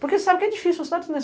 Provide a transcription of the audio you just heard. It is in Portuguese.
Porque você sabe que é difícil...